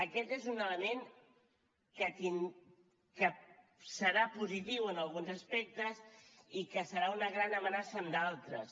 aquest és un element que serà positiu en alguns aspectes i que serà una gran amenaça en d’altres